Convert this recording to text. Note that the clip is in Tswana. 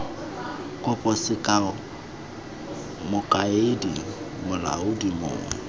kopo sekao mokaedi molaodi mong